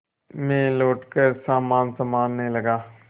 मैं लौटकर सामान सँभालने लगा